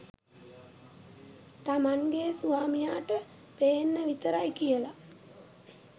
තමන්ගේ ස්‌වාමියාට පේන්න විතරයි කියල.